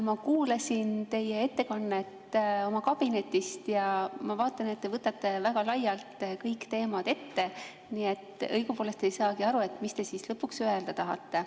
Ma kuulasin teie ettekannet oma kabinetist ja ma vaatan, et te võtate väga laialt kõik teemad ette, nii et õigupoolest ei saagi aru, mida te siis lõpuks öelda tahate.